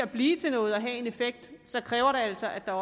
blive til noget og have en effekt kræver det altså at der